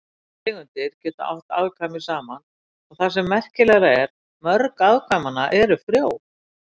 Þessar tegundir geta átt afkvæmi saman og það sem merkilegra er, mörg afkvæmanna eru frjó.